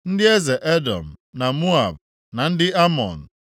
Ndị eze Edọm, na Moab, na ndị Amọn;